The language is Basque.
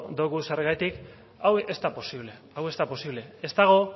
dogu zergatik hau ez da posible hau ez da posible ez dago